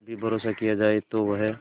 भी भरोसा किया जाए तो वह